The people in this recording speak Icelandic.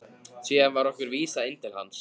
Síðan var okkur vísað inn til hans.